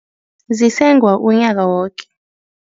Zisengwa unyaka woke.